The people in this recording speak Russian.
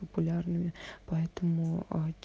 популярными поэтому а